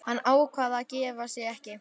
Hann ákvað að gefa sig ekki.